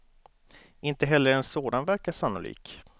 Inte heller en sådan verkar sannolik.